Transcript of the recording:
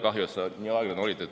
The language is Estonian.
Kahju, et sa nii aeglane olid.